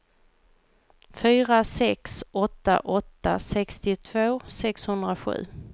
fyra sex åtta åtta sextiotvå sexhundrasju